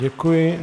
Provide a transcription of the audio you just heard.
Děkuji.